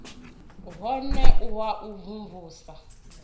wone u wa u mvumvusa